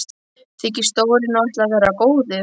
Þykist Dóri nú ætla að vera góður.